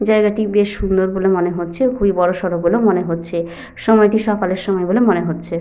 জায়গাটি বেশ সুন্দর বলে মনে হচ্ছে এবং খুবই বড় সড়ো বলে মনে হচ্ছে। সময়টি সকালের সময় বলে মনে হচ্ছে।